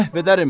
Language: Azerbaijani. məhv edərəm.